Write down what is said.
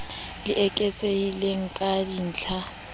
le eketsehileng ka dintl ha